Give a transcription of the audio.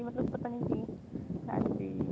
ਮਤਲਬ ਪਤਾ ਨੀ ਕੀ ਹਾਂਜੀ